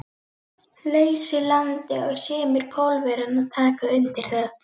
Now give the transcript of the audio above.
lausu landi og sumir Pólverjanna taka undir það.